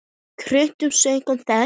Hjörtur: Saknarðu þess?